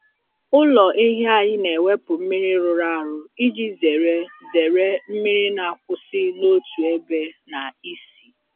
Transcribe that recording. Ụlọ ehi anyị na-ewepụ mmiri rụrụ arụ iji zere zere mmiri na-akwụsị n’otu ebe na ísì.